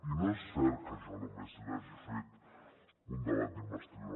i no és cert que jo només li hagi fet un debat d’investidura